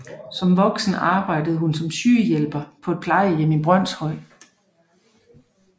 Som voksen arbejdede hun som sygehjælper på et plejehjem i Brønshøj